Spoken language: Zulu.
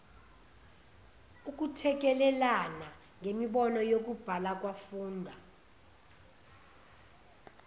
ukuthekelelana ngemibono yokubhalakwafunda